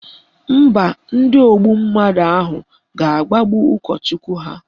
Mba, ndị ogbu mmadụ ahụ ga-agbagbu ụkọchukwu ha